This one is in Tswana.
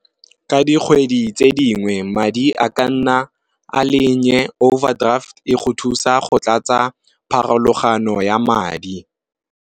Ka dikgwedi tse dingwe madi a ka nna a le overdraft e go thusa go tlatsa pharologano ya madi.